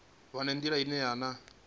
vha na nḓila ine vhana